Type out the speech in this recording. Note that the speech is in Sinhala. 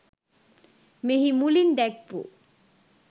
මෙහි මුලින් දැක්වූ